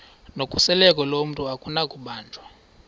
nokhuseleko lomntu akunakubanjwa